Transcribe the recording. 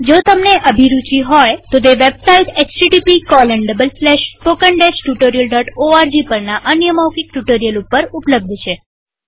જો તમને અભિરુચિ હોય તોતે વેબસાઈટ httpspoken tutorialorg પરના અન્ય મૌખિક ટ્યુ્ટોરીઅલ ઉપર ઉપલબ્ધ છે